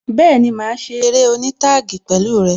Bẹẹni, máa ṣe eré oní taagi pẹ̀lú rẹ